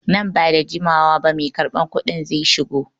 Nan ba da jimawa ba mai karban kuɗin zai shigo.